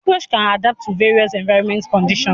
cockroaches can adapt to various environmental conditions.